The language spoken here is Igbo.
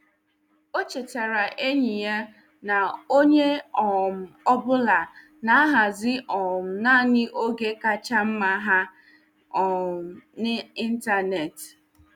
O chetaara enyi ya na onye um ọ bụla na-ahazi um naanị oge kacha mma ha um n'ịntanetị.